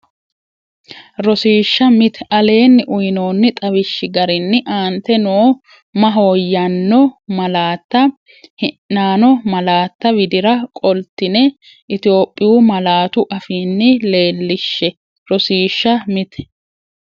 Rosiishsha Mite Aleenni uyinoonni xawishshi garinni aante noo mahooyyaano malaatta hi’naano malaatta widira qoltine Itophhiyu malaatu afiinni leellishshe Rosiishsha Mite.